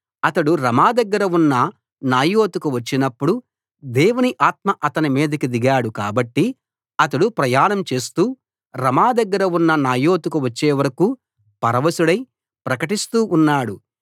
అతడు రమా దగ్గర ఉన్న నాయోతుకు వచ్చినపుడు దేవుని ఆత్మ అతని మీదికి దిగాడు కాబట్టి అతడు ప్రయాణం చేస్తూ రమా దగ్గర ఉన్న నాయోతుకు వచ్చేవరకూ పరవశుడై ప్రకటిస్తూ ఉన్నాడు